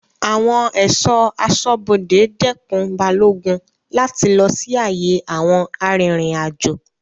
Awon eso asobode dekun Balogun lati lo si aye awon aririnajo